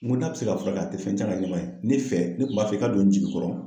N ko n'a bɛ se ka furakɛ a tɛ fɛn tiɲɛ a ka ɲɛnɛmayaye ne fɛ ne kun b'a fɛ i ka don n jigikɔrɔ.